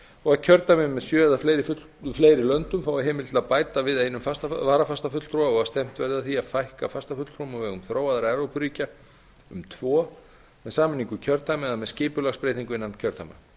og kjördæmi með sjö eða fleiri löndum fái heimild til að bæta við einum varafastafulltrúa og stefnt verði að því að fækka fastafulltrúum á vegum þróaðra evrópuríkja um tvo með sameiningu kjördæma eða með skipulagsbreytingu innan kjördæma